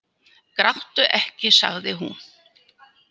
Gráttu ekki, sagði hún.